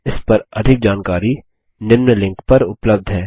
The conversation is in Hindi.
इस पर अधिक जानकारी निम्न लिंक पर उपलब्ध है